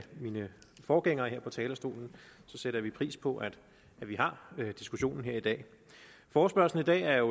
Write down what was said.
mine forgængere her på talerstolen sætter vi pris på at vi har diskussionen her i dag forespørgslen i dag er